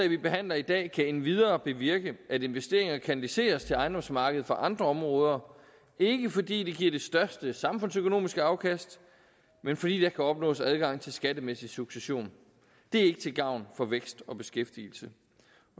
vi behandler i dag kan endvidere bevirke at investeringer kanaliseres til ejendomsmarkedet fra andre områder ikke fordi det giver det største samfundsøkonomiske afkast men fordi der kan opnås adgang til skattemæssig succession det er ikke til gavn for vækst og beskæftigelse